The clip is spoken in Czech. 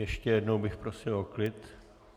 Ještě jednou bych prosil o klid.